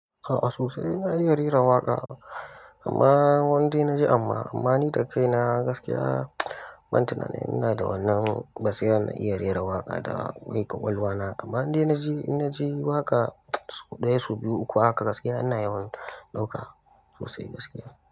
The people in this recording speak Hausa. A sosai dai na iya rera waƙa, amma wanda na ji amma, amma ni da kai na gaskiya ban tunani ina da wannan basira na iya rera waka da ni ƙwaƙwalwa na. Amma inda na ji, na ji waƙa ɗaya, su biyu, uku haka gaskiya ina yawan ɗauka sosai gaskiya.